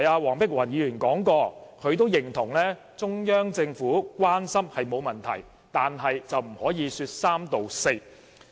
黃碧雲議員剛才指出，她認同中央政府的關心並沒有問題，但卻不可以說三道四。